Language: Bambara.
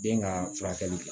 Den ka furakɛli kɛ